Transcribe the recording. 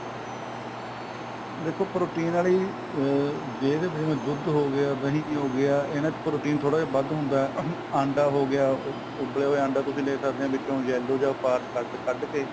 ਦੇਖੋ protein ਵਾਲੀ ਅਹ ਜੇ ਤਾਂ ਦੁੱਧ ਹੋ ਗਿਆ ਦਹੀ ਵੀ ਹੋ ਗਿਆ ਇਹਨਾ ਚ protein ਥੋੜਾ ਜਾ ਵੱਧ ਹੁੰਦਾ ਅੰਡਾ ਹੋ ਗਿਆ ਉਬਲੇ ਅੰਡੇ ਤੁਸੀਂ ਲੈ ਸਕਦੇ ਓ ਵਿਚੋ ਉਹ yellow part ਕੱਡ ਕੱਡ ਕੇ